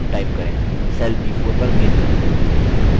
cell b4 पर click करें